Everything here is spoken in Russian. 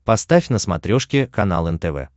поставь на смотрешке канал нтв